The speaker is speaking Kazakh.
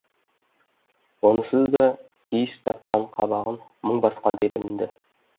онысыз да кейіс тартқан қабағын мұң басқандай білінді